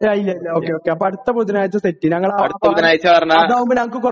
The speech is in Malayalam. അടുത്ത ബുധനാഴ്ച ആക്കാം